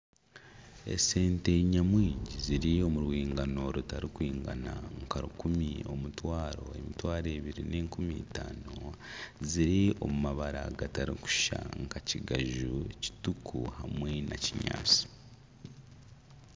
Esente nyamwingi ziri omu rwingano rutarikwingana nka rukumi, omutwaro emitwaro ebiri n'enkumi itaano, ziri omu mabara gatarikushushana nka kigaju, kituku hamwe na kinyaatsi